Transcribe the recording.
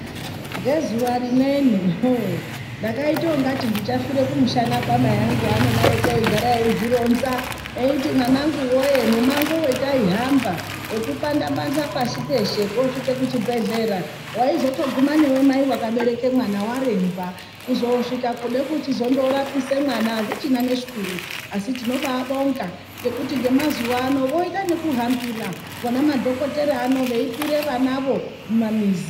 Ngezuva rimweni ndakaita ungati ndichafire kumushana kwamai angu haanodaroko eigara eizvironza eiti mwana nguwee mumango wataihamba wekupanda panda pashi peshe koosvike kuchibhedhlera, waizotoguma newe mai akabereke mwana waremba. Kuzosvika kude kuchizondorapise mwana azvichina neshwiro. Asi tinobabonga ngekuti ngemazuva vanoita nekuhambira vona madhokoteya ano, veipire vanavo mumamizi.